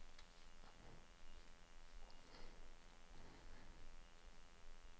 åtti tusen og fire